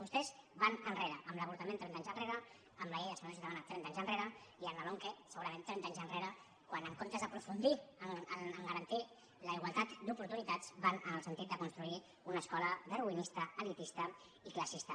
vostès van enrere amb l’avortament trenta anys enrere amb la llei de seguretat ciutadana trenta anys enrere i amb la lomqe segurament trenta anys enrere quan en comptes d’aprofundir a garantir la igualtat d’oportunitats van en el sentit de construir una escola darwinista elitista i classista